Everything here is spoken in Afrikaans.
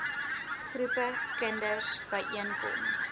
groepe kinders byeenkom